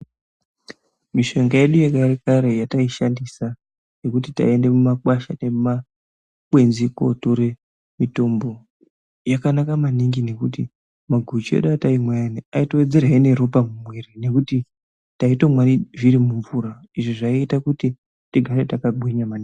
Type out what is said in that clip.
Mushonga yedu yechinyakare yataishandisa yekuti taiende kotora mumakwasha nemumakwenzi kotora mitombo yakanaka maningi ngekuti maguchu ataimwa aitowedzerezve neropa mumuviri ngekuti taitomwa zviri mumvura Izvi zvaita kuti tinge takagwinya